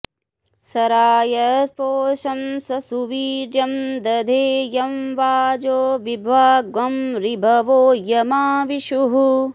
स रा॒यस्पोषं॒ स सु॒वीर्यं॑ दधे॒ यं वाजो॒ विभ्वा॑ँ ऋ॒भवो॒ यमावि॑षुः